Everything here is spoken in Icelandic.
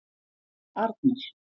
Arnar